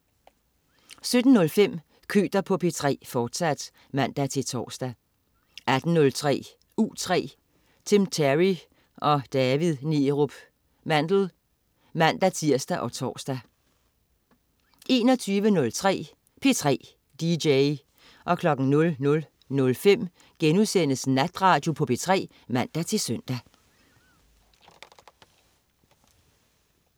17.05 Køter på P3, fortsat (man-tors) 18.03 U3. Tim Terry og David Neerup Mandel (man-tirs og tors) 21.03 P3 dj 00.05 Natradio på P3* (man-søn)